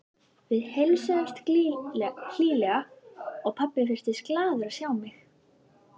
Við heilsuðumst hlýlega og pabbi virtist glaður að sjá mig.